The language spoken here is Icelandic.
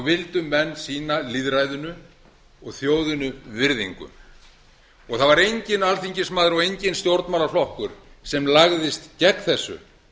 vildu menn sýna lýðræðinu og þjóðinni virðingu það var enginn alþingismaður og enginn stjórnmálaflokkur sem lagðist gegn þessu